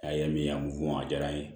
A ye min ye a b'u f'u ma a diyara n ye